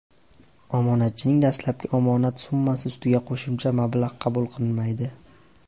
Omonatchining dastlabki omonat summasi ustiga qo‘shimcha mablag‘ qabul qilinmaydi.